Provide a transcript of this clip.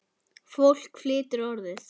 Fólk flytur Orðið.